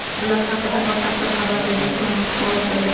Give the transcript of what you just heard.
Bular haqida batafsil xabar berilishi ma’lum qilindi.